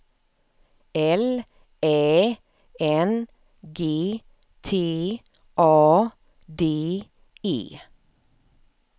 L Ä N G T A D E